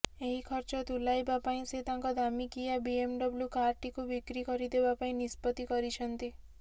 ଏହି ଖର୍ଚ୍ଚ ତୁଲାଇବା ପାଇଁ ସେ ତାଙ୍କ ଦାମିକିଆ ବିଏମଡବ୍ଲୁ କାରଟିକୁ ବିକ୍ରି କରିଦେବା ପାଇଁ ନିଷ୍ପତି କରଛନ୍ତି